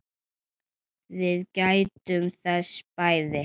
Við gættum þess bæði.